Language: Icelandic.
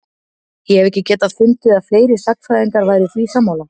Ég hef ekki getað fundið að fleiri sagnfræðingar væru því sammála?